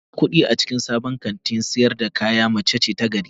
Mai irgan kudi a cikin sabon kantin sayar da kaya mace ce ta gari